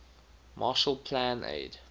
marshall plan aid